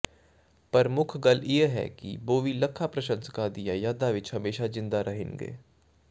ਪਰ ਮੁੱਖ ਗੱਲ ਇਹ ਹੈ ਕਿ ਬੋਵੀ ਲੱਖਾਂ ਪ੍ਰਸ਼ੰਸਕਾਂ ਦੀਆਂ ਯਾਦਾਂ ਵਿਚ ਹਮੇਸ਼ਾ ਜ਼ਿੰਦਾ ਰਹਿਣਗੇ